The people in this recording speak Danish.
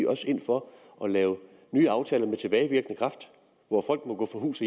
også ind for at lave nye aftaler med tilbagevirkende kraft hvor folk må gå fra hus